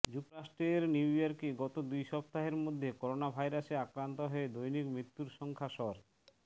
যুক্তরাষ্ট্রের নিউইয়র্কে গত দুই সপ্তাহের মধ্যে করোনভাইরাসে আক্রান্ত হয়ে দৈনিক মৃত্যুর সংখ্যা সর্